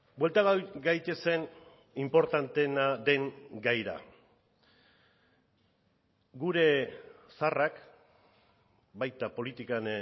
buelta gaitezen inportanteena den gaira gure zaharrak baita politikan